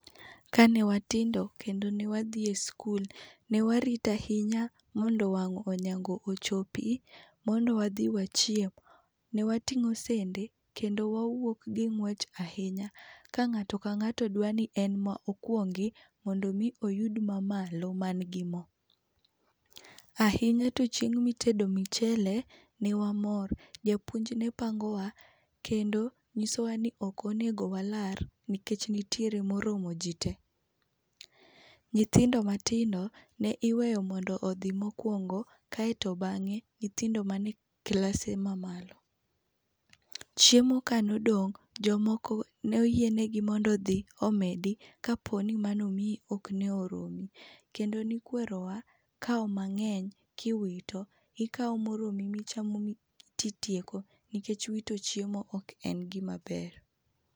Kane watindo kendo ne wadhi e skul, ne warito ahinya mondo wang' onyango ochopi, mondo wadhi wachiem. Ne wating'o sende kendo wawuok gi ng'wech ahinya. Ka ng'ato ka ng'ato dwa ni en ma okwongi mondo omi oyud mamalo mangi mo. Ahinya to chieng' mitedo michele ne wamor. Japuonj ne pangowa, kendo nyisowa ni ok onego walar nikech nitiere moromo ji te. Nyithindo matindo ne iweyo mondo odhi mokwongo, kaeto bang'e nyithindo mane klase mamalo. Chiemo kanodong', jomoko ne oyienegi mondo odhi omedi kapo ni manomiyi ok ne oromi. Kendo nikwerowa kawo mang'eny kiwito, ikawo moromi michamo titieko nikech wito chiemo ok en gima ber.